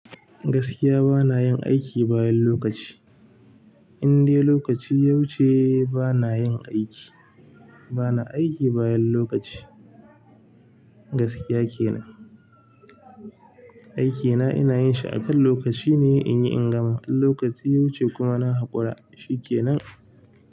Gaskiya banayin aiki bayan lokaci inde lokaci ya wuce bana yin aiki. Bana aiki bayan lokaci gaskiya kenan. Aiki na ina yin shi akan lokaci ne in yi in gama. In lokaci ya wuce kuma na haƙura, shi kenan.